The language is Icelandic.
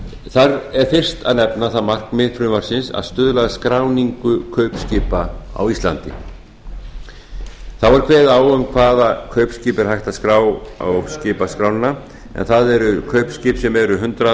þar er fyrst að nefna það markmið frumvarpsins að stuðla að skráningu kaupskipa á íslandi þá er kveðið á um hvaða kaupskip er hægt að skrá á skipaskrána en það eru kaupskip sem eru hundrað